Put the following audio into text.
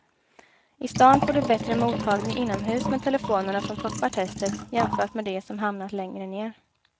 I stan får du bättre mottagning inomhus med telefonerna som toppar testet jämfört med de som hamnat längre ner.